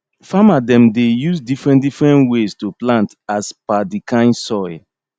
farmer dem dey use different different ways to plant as per di kain soil